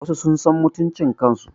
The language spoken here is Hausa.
Wasu sun san mutuncin kan su